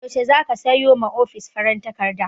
Yaushe zaka sayo ma ofis farin takarda?